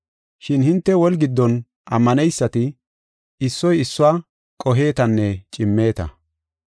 Shin hinte woli giddon ammaneysati, issoy issuwa qohetanne cimmeeta.